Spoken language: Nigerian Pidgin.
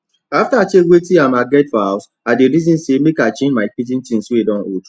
after i check wetin um i get for house i dey reason say make i change my kitchen things wey don old